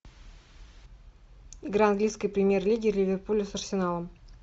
игра английской премьер лиги ливерпуля с арсеналом